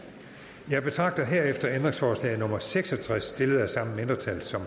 jeg betragter herefter ændringsforslag nummer seks og tres stillet af samme mindretal som